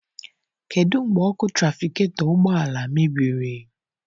Kedụ mgbe ọkụ trafigetọ ụgbọala mebiri?